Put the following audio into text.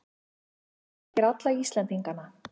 Þekkir alla Íslendingana.